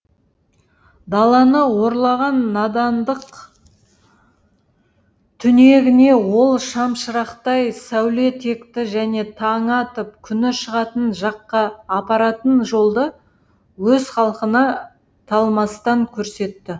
даланы орлаған надандық түнегіне ол шам шырақтай сәуле текті және таңы атып күні шығатын жаққа апаратын жолды өз халқына талмастан көрсетті